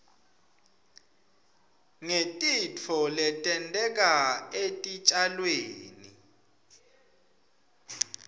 ngetitfo letenteka etitjalweni